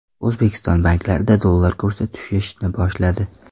O‘zbekiston banklarida dollar kursi tushishni boshladi.